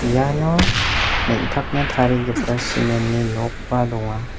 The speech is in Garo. iano nengtakna tarigipa cement-ni nokba donga.